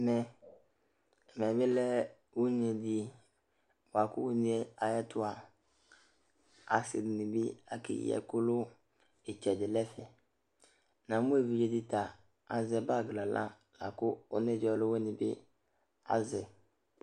Ɛmɛ, ɛmɛ bɩ lɛ une dɩ bʋa kʋ une yɛ ayɛtʋ a, asɩ dɩnɩ bɩ akeyi ɛkʋ nʋ ɩtsɛdɩ nʋ ɛfɛ Namʋ evidze dɩ ta azɛ bag nʋ aɣla la kʋ ɔnedzǝ ɔlʋwɩnɩ bɩ azɛ yɩ